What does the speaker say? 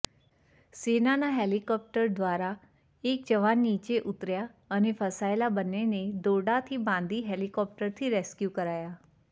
સેનાના હેલિકોપ્ટર દ્વારા એક જવાન નીચે ઉતર્યા અને ફસાયેલા બંનેને દોરડાથી બાંધી હેલિકોપ્ટરથી રેસ્કયૂ કરાયા